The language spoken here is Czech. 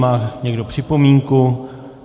Má někdo připomínku?